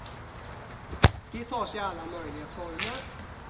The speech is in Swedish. De tar sig alla möjliga former.